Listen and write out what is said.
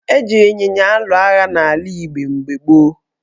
Eji ịnyịnya alụ agha n' ala Igbo mgbe gboo.